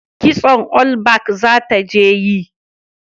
Kitson olbak za ta je yi